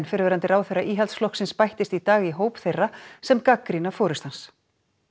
fyrrverandi ráðherra Íhaldsflokksins bættist í dag í hóp þeirra sem gagnrýna forystu hans